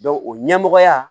o ɲɛmɔgɔya